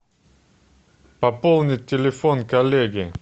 пополнить телефон коллеги